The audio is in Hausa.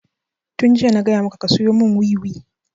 Tun jiya na gaya maka ka siyo mun wiwi!